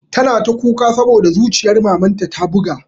Tana ta kuka saboda zuciyar mamanta ta buga